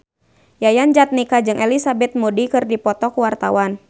Yayan Jatnika jeung Elizabeth Moody keur dipoto ku wartawan